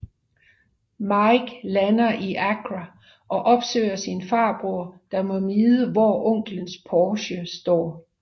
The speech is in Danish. Mike lander i Accra og opsøger sin farbror der må vide hvor onklens Porsche står